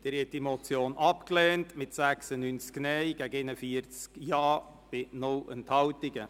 Sie haben die Motion abgelehnt mit 96 Nein- gegen 41 Ja-Stimmen bei 0 Enthaltungen.